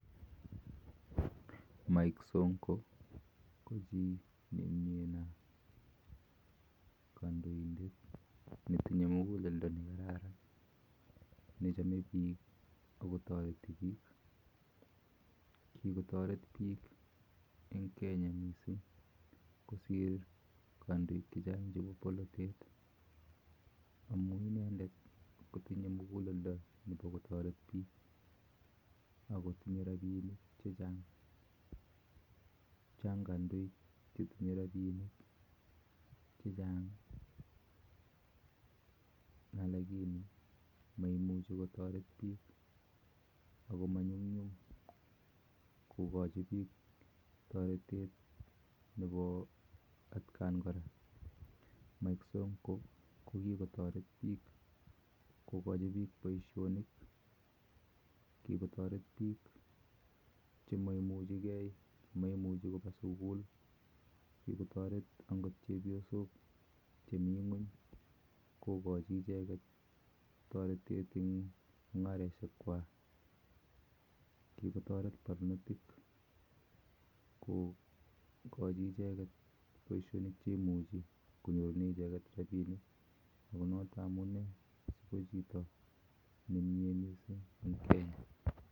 Mike sonkoo ko kandoindeet netinyee mukuleldooo nekaran amun inendeet kotinyee mukuleldaa nekararan ako tinyee rapisheek chechaang kikotareet chepyosook chemiteei atkaii kotuguul kikotareet piik eng poishonik chechaang